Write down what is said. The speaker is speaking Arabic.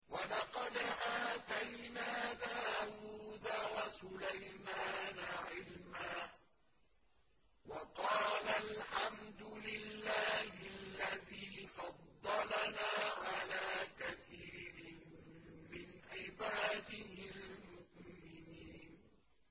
وَلَقَدْ آتَيْنَا دَاوُودَ وَسُلَيْمَانَ عِلْمًا ۖ وَقَالَا الْحَمْدُ لِلَّهِ الَّذِي فَضَّلَنَا عَلَىٰ كَثِيرٍ مِّنْ عِبَادِهِ الْمُؤْمِنِينَ